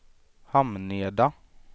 Hamneda